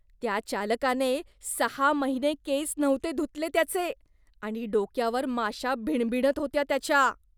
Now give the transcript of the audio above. त्या चालकाने सहा महिने केस नव्हते धुतले त्याचे आणि डोक्यावर माशा भिणभिणत होत्या त्याच्या.